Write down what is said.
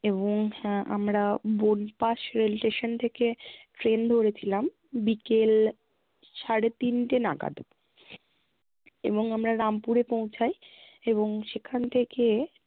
এবং আহ আমরা বোলপাশ rail station থেকে train ধরেছিলাম বিকেল সাড়ে তিনটে নাগাদ এবং আমরা রামপুরে পৌঁছাই এবং সেখান থেকে